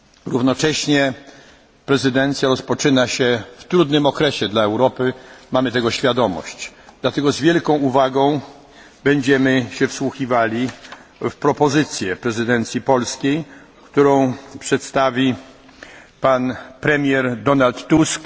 Równocześnie prezydencja rozpoczyna się w trudnym okresie dla Europy mamy tego świadomość. Dlatego z wielką uwagą będziemy się wsłuchiwali w propozycję prezydencji polskiej, którą przedstawi pan premier Donald Tusk.